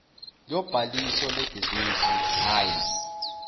lobhaliso lebhizinisi hhayi